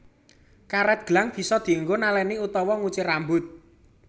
Karet gelang bisa dinggo naleni utawa nguncir rambut